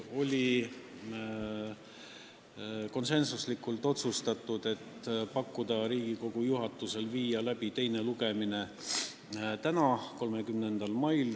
Otsustasime konsensusega teha Riigikogu juhatusele ettepaneku viia teine lugemine läbi täna, 30. mail.